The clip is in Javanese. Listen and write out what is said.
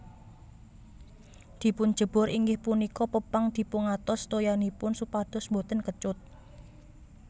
Dipunjebor inggih punika pepang dipungantos toyanipun supados boten kecut